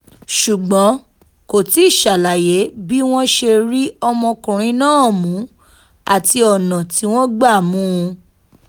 ṣùgbọ́n kò tí ì ṣàlàyé bí wọ́n ṣe rí ọmọkùnrin náà mú àti ọ̀nà tí wọ́n gbá mú un